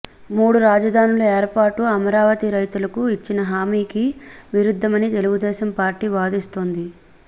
మూడు రాజధానుల ఏర్పాటు అమరావతి రైతులకు ఇచ్చిన హామీకి విరుద్దమని తెలుగుదేశం పార్టీ వాదిస్తోంది